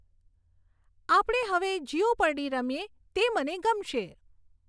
આપણે હવે જયોપર્ડી રમીએ તે મને ગમશે